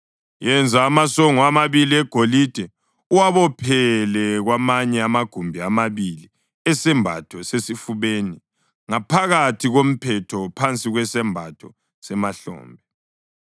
Yenza amasongo amabili egolide uwabophele kwamanye amagumbi amabili esembatho sesifubeni ngaphakathi komphetho phansi kwesembatho semahlombe.